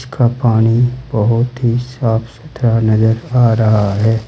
इसका पानी बहोत ही साफ सुथरा नजर आ रहा है।